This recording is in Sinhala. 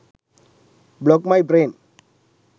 blog my brain